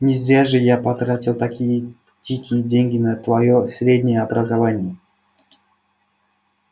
не зря же я потратил такие дикие деньги на твоё среднее образование